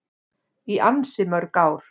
Í ansi mörg ár.